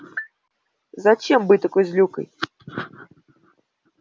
зачем быть такой злюкой